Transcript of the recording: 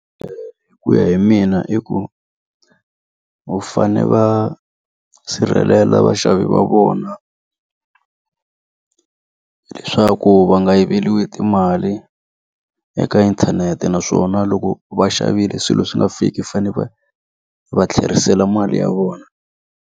Hi ku ya hi mina i ku va fane va sirhelela vaxavi va vona leswaku va nga yiveriwi timali eka inthanete naswona loko va xavile swilo swi nga fiki fane va va tlherisela mali ya vona.